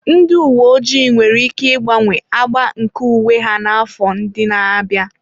Ndị uwe ojii nwere ike ịgbanwe agba nke uwe ha n'afọ ndị na-abịa.